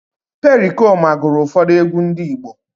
Perikoma gụrụ ụfọdụ egwú ndị Igbo